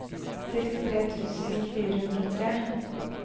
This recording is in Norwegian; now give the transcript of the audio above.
sekstitre tusen fire hundre og tre